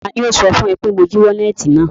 Taani ó sọ fún ẹ pé mo jí wọ́lẹ́tì náà?